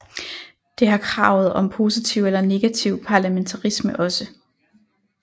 Det har kravet om positiv eller negativ parlamentarisme også